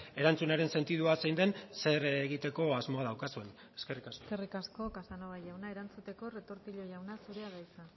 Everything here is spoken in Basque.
erantzunaren sentidua zein den zer egiteko asmoa daukazuen eskerrik asko eskerrik asko casanova jauna erantzuteko retortillo jauna zurea da hitza